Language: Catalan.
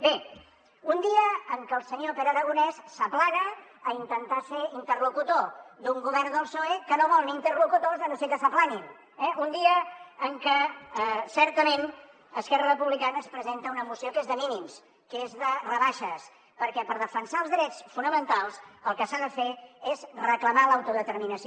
bé un dia en què el senyor pere aragonès s’aplana a intentar ser interlocutor d’un govern del psoe que no vol interlocutors si no és que s’aplanen eh un dia en què certament esquerra republicana ens presenta una moció que és de mínims que és de rebaixes perquè per defensar els drets fonamentals el que s’ha de fer és reclamar l’autodeterminació